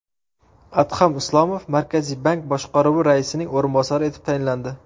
Adham Islomov Markaziy bank boshqaruvi raisining o‘rinbosari etib tayinlandi.